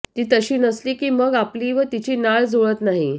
ती तशी नसली की मग आपली व तिची नाळ जुळत नाही